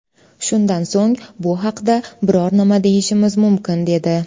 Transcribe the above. Shundan so‘ng bu haqda biror nima deyishimiz mumkin”, dedi.